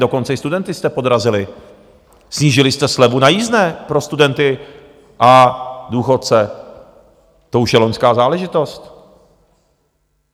Dokonce i studenty jste podrazili, snížili jste slevu na jízdné pro studenty a důchodce, to už je loňská záležitost.